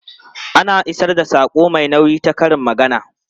Ana isar da saƙo mai nauyi ta karin magana.